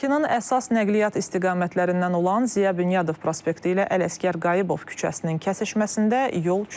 Bakının əsas nəqliyyat istiqamətlərindən olan Ziya Bünyadov prospekti ilə Ələsgər Qayıbov küçəsinin kəsişməsində yol çöküb.